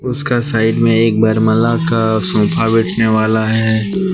उसका साइड में एक वर माला का सोफा बैठने वाला है।